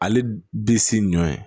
Ale bi si nɔ ye